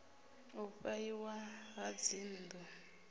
u fha iwa ha dzinnḓu